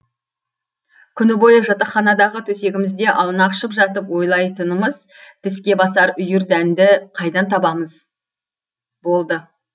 күні бойы жатақханадағы төсегімізде аунақшып жатып ойлайтынымыз тіске басар үйір дәнді қайдан табамыз болды